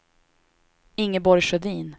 Ingeborg Sjödin